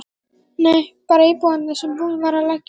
Nei, bara íbúðir sem búið var að leigja